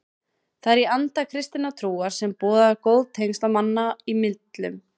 Það er í anda kristinnar trúar sem boðar góð tengsl manna í millum.